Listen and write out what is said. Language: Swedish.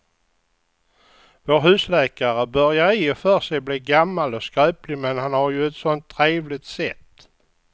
Vår husläkare börjar i och för sig bli gammal och skröplig, men han har ju ett sådant trevligt sätt!